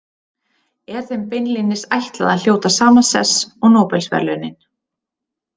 Er þeim beinlínis ætlað að hljóta sama sess og Nóbelsverðlaunin.